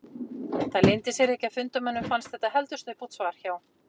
Það leyndi sér ekki að fundarmönnum fannst þetta heldur snubbótt svar hjá